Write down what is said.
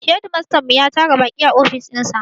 Shedimastan mu ya tara baƙi a ofishin sa